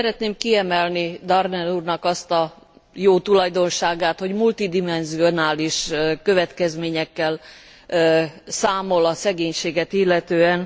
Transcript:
Szeretném kiemelni Daerden úrnak azt a jó tulajdonságát, hogy multidimenzionális következményekkel számol a szegénységet illetően.